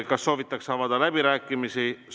Kas soovitakse avada läbirääkimisi?